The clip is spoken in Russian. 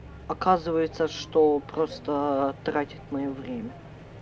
оказывается что просто тратит моё время